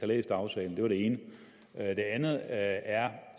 læst aftalen det var det ene det andet er